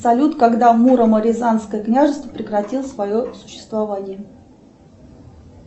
салют когда муромо рязанское княжество прекратило свое существование